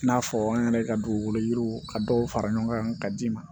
I n'a fɔ an yɛrɛ ka dugukolo yiriw ka dɔw fara ɲɔgɔn kan ka d'i ma